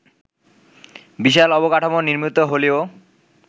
বিশাল অবকাঠামো নির্মিত হলেও